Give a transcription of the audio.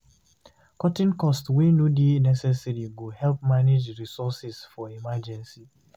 Cutting cost wey no dey necesaary go help manage resources for emergency